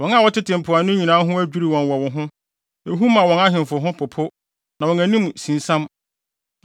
Wɔn a wɔtete mpoano nyinaa ho adwiriw wɔn wɔ wo ho; ehu ma wɔn ahemfo ho popo na wɔn anim sinsiam.